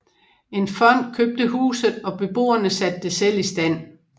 En fond købte huset og beboerne satte det selv i stand